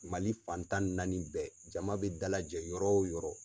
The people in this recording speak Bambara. Mali fan tan ni naani bɛɛ jama bɛ dalajɛ yɔrɔ o yɔrɔ.